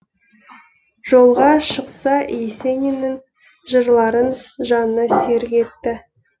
жолға шықса есениннің жырларын жанына серік етті